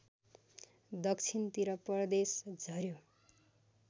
दक्षिणतिर परदेश झर्‍यो